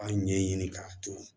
An ɲɛ ɲini k'a turu